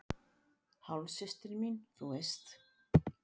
Hálfsystir mín, þú veist.